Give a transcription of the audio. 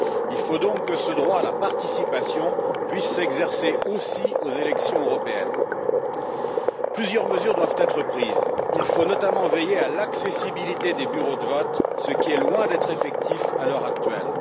Il faut donc que ce droit à la participation puisse s'exercer aussi aux élections européennes. Plusieurs mesures doivent être prises, il faut notamment veiller à l'accessibilité des bureaux de vote, ce qui est loin d'être effectif à l'heure actuelle.